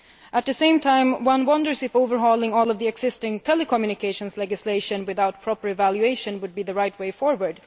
At the same time, one wonders whether overhauling all of the existing telecommunications legislation without proper evaluation would be the right way forward.